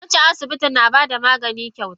Wancan asibitin na bada magani kyauta.